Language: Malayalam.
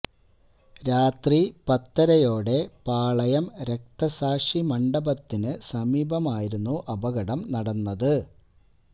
രാത്രി പത്തരയോടെ പാളയം രക്തസാക്ഷി മണ്ഡപത്തിന് സമീപം ആയിരുന്നു അപകടം നടന്നത്